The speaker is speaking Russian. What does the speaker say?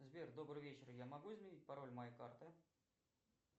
сбер добрый вечер я могу изменить пароль моей карты